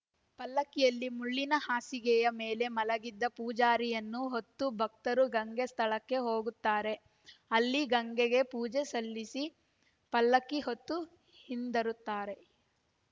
ಪಲ್ಲಕ್ಕಿಯಲ್ಲಿ ಮುಳ್ಳಿನ ಹಾಸಿಗೆಯ ಮೇಲೆ ಮಲಗಿದ ಪೂಜಾರಿಯನ್ನು ಹೊತ್ತ ಭಕ್ತರು ಗಂಗೆ ಸ್ಥಳಕ್ಕೆ ಹೋಗುತ್ತಾರೆ ಅಲ್ಲಿ ಗಂಗೆಗೆ ಪೂಜೆ ಸಲ್ಲಿಸಿ ಪಲ್ಲಕ್ಕಿ ಹೊತ್ತು ಹಿಂದರುತ್ತಾರೆ